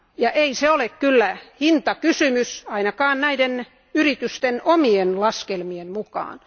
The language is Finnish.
Ja ei se ole kyllä hintakysymys ainakaan näiden yritysten omien laskelmien mukaan.